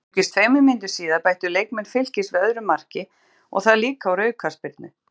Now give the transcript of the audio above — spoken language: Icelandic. Einungis tveimur mínútum síðar bættu leikmenn Fylkis við öðru marki og það líka úr aukaspyrnu.